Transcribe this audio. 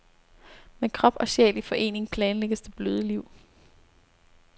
Med krop og sjæl i forening planlægges det bløde liv.